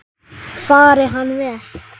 Fari hann vel.